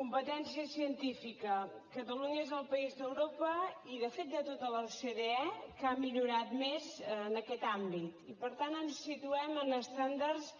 competència científica catalunya és el país d’europa i de fet de tota l’ocde que ha millorat més en aquest àmbit i per tant ens situem en estàndards